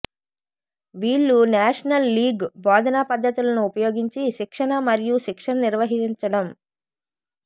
వీళ్ళు national league బోధనా పద్ధతులను ఉపయోగించి శిక్షణ మరియు శిక్షణ నిర్వహించడం